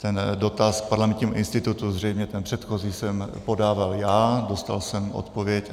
Ten dotaz k Parlamentnímu institutu, zřejmě ten předchozí, jsem podával já, dostal jsem odpověď.